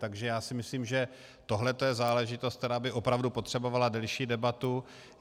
Takže já si myslím, že tohle je záležitost, která by opravdu potřebovala delší debatu.